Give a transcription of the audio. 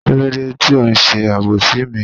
Kílódé ti o n sé àbòsí mi?